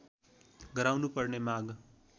गराउनु पर्ने माग